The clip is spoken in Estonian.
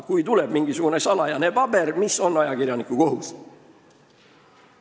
Kui tuleb välja mingisugune salajane paber, siis mis on ajakirjaniku kohus?